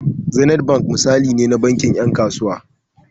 Zenith bank misali ne na bankin ƴan kasuwa.